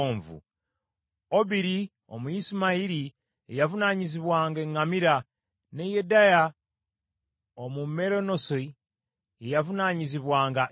Obiri Omuyisimayiri ye yavunaanyizibwanga eŋŋamira, ne Yedeya Omumeronoosi ye n’avunaanyizibwanga endogoyi.